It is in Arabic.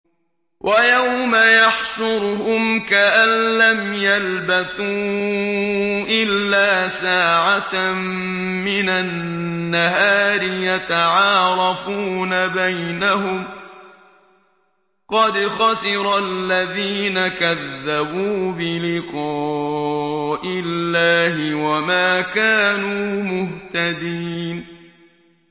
وَيَوْمَ يَحْشُرُهُمْ كَأَن لَّمْ يَلْبَثُوا إِلَّا سَاعَةً مِّنَ النَّهَارِ يَتَعَارَفُونَ بَيْنَهُمْ ۚ قَدْ خَسِرَ الَّذِينَ كَذَّبُوا بِلِقَاءِ اللَّهِ وَمَا كَانُوا مُهْتَدِينَ